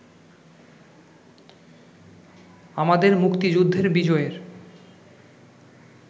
আমাদের মুক্তিযুদ্ধের বিজয়ের